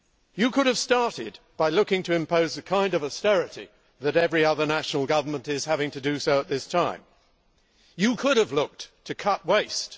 You could have started by looking to impose the kind of austerity that every other national government is having to introduce at this time. You could have looked to cut waste.